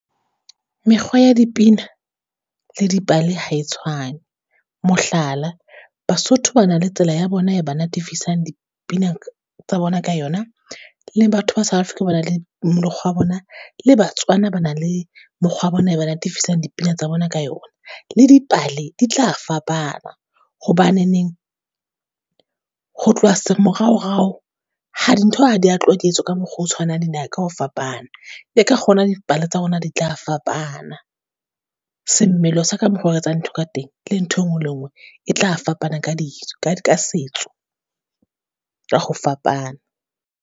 Mekgwa ya dipina le dipale ha e tshwane. Mohlala, Basotho ba na le tsela ya bona e ba natifisang dipina tsa bona ka yona, le batho ba South Africa ba na le mokgwa wa bona, le Batswana ba na le mokgwa wa bona e ba natifisang dipina tsa bona ka yona. Le dipale di tla fapana hobaneneng, ho tloha se moraorao ha dintho ha di ya tloha di etswa ka mokgwa o tshwanang dinaha ka ho fapana. Ke ka kgona dipale tsa rona di tla fapana, semmelo sa ka mokgwa o re etsa dintho ka teng, le ntho e nngwe le nngwe e tla fapana ka di ka ditso, ka ka setso, ka ho fapana.